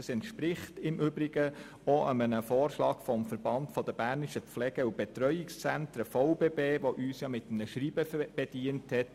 Das entspricht im Übrigen auch dem Vorschlag des Verbandes Berner Pflege- und Betreuungszentren (VBB), der uns mit einem Schreiben bedient hat.